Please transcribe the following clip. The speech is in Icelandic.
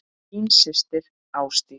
Þín systir, Ásdís.